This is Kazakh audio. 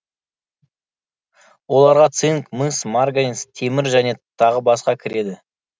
оларға цинк мыс марганец темір және тағы басқа кіреді